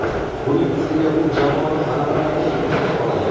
Buning ustiga u jamoani g‘alabalarga yetaklay oladi.